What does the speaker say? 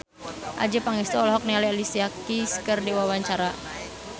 Adjie Pangestu olohok ningali Alicia Keys keur diwawancara